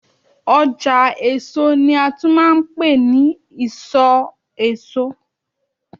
ọjà èso ni a tún ma ń pe ni isọ èso